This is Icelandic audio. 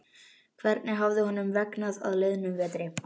Hvernig hafði honum vegnað á liðnum vetri?